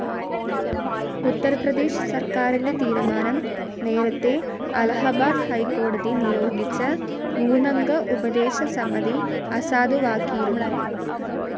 ഉത്തർപ്രദേശ് സർക്കാരിൻ്റെ തീരുമാനം നേരത്തെ അലഹബാദ് ഹൈക്കോടതി നിയോഗിച്ച മൂന്നംഗ ഉപദേശക സമിതി അസാധുവാക്കിയിരുന്നു.